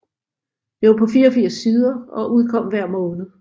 Det var på 84 sider og udkom hver måned